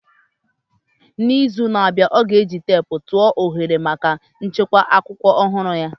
N'izu na-abịa, ọ ga-eji teepu atụ tụọ oghere maka nchekwa akwụkwọ ọhụrụ ya.